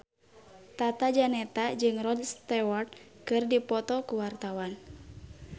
Tata Janeta jeung Rod Stewart keur dipoto ku wartawan